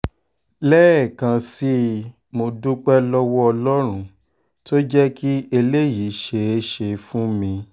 lẹ́ẹ̀kan sí i mo dúpẹ́ lọ́wọ́ ọlọ́run tó jẹ́ kí eléyìí ṣeé ṣe fún mi